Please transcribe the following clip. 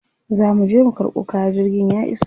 Za muje mu karɓo kaya, jirgin ya iso.